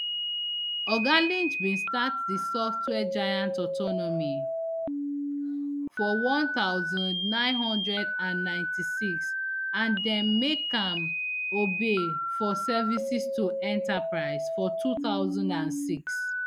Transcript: oga lynch bin start di software giant autonomy for one thousand, nine hundred and ninety-six and dem make am obe for services to enterprise for two thousand and six